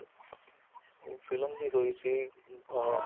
ਉਹ film ਵੀ ਹੋਈ ਸੀ ਅਹ